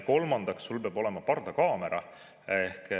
Kolmandaks, sul peab olema pardakaamera.